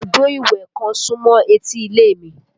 Ibùdó ìwẹ̀ kan súmọ́ etí ilé mi